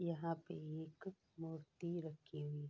यहाँ पे एक मूर्ति रखी हुई।